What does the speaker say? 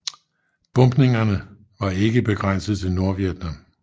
Bombningerne var ikke begrænset til Nordvietnam